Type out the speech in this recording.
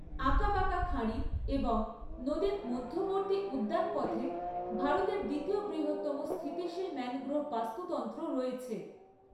আঁকাবাঁকা খাঁড়ি এবং নদীর মধ্যবর্তী উদ্যানপথে ভারতের দ্বিতীয় বৃহত্তম স্থিতিশীল ম্যানগ্রোভ বাস্তুতন্ত্র রয়েছে।